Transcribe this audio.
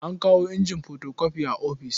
An kawo injin fotokofi a ofis.